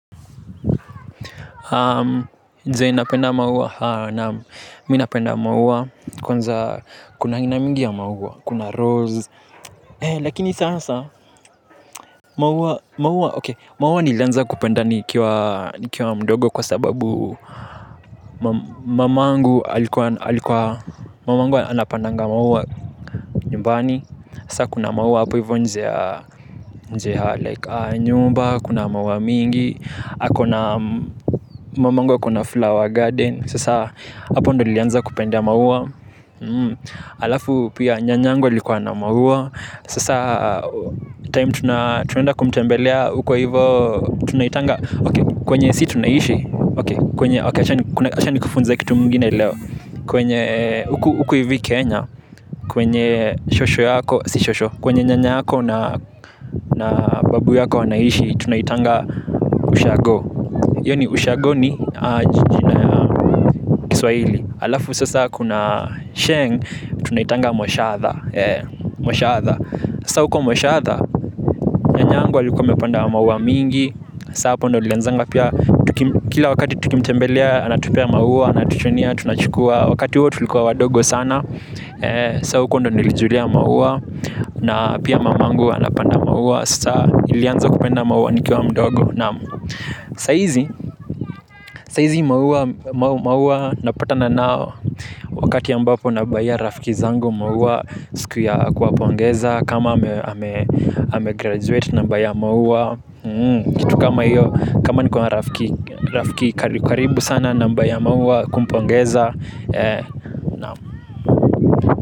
Design napenda maua naam minapenda maua kwanza kuna aina mingi ya maua kuna rose. Lakini sasa maua maua oksy maua nilanza kupenda nikiwa mdogo kwa sababu mamangu alikuwa mamangu anapandanga maua nyumbani sasa kuna maua hapo hivyo nje ya nje ya like nyumba, kuna maua mingi, ako na mamangu akona flower garden. Sasa hapo ndo nilianza kupenda maua. Alafu pia nyanyangu alikuwa na maua. Sasa time tunaenda kumtembelea uko hivo tunaitanga Okay kwenye si tunaishi, okay acha nikufunze kitu ingine leo, kwenye uko huku hivi kenya kwenye shosho yako, si shosho kwenye nyanya yako na babu wanaishi tunaitanga ushago hio ni ushago ni jina ya kiswaili. Alafu sasa kuna sheng, tunaitanga moshatha moshatha sasa huko moshatha nyanyangu alikua amepanda maua mingi sasa hapo ndio nilianza pia kila wakati tukimtembelea anatupea maua anatuchunia tunachukua wakati huo tulikua wadogo sana. Sasa huko ndo nilijulia mauwa, na pia mamangu anapanda mauwa sa ilianza kupenda maua nikiwa mdogo naam saizi saizi maua napatana nao wakati ambapo nabuyia rafiki zangu maua siku ya kuwapongeza kama ame graduate na mbuyia maua kitu kama iyo kama nikuwa marafiki rafiki karibu sana nambuyia maua kumpongeza.